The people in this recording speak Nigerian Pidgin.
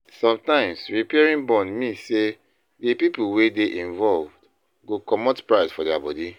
Sometimes repairing bond mean sey di pipo wey dey involved go comot pride for their body